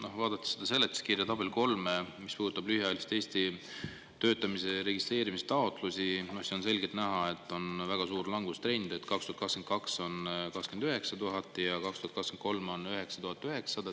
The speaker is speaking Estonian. Noh, vaadates seda seletuskirja tabelit 3, mis puudutab lühiajaliselt Eestis töötamise registreerimise taotlusi, siis on selgelt näha, et on väga suur langustrend: 2022 on 29 000 ja 2023 on 9900.